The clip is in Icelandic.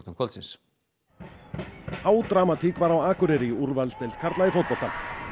kvöldsins á Akureyri í úrvalsdeild karla í fótbolta